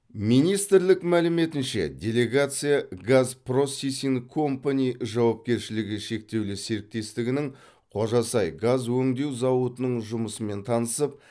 министрлік мәліметінше делегация газ просисинг компани жауапкершілігі шектеулі серіктестігінің қожасай газ өңдеу зауытының жұмысымен танысып